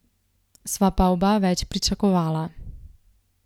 Sva pa oba več pričakovala.